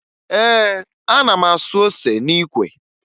Ee, ana m asụ ose n'ikwe